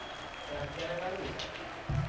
ഇറക്കിയേനേക്കാളും കിട്ടു